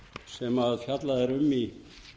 sem fjallað er um í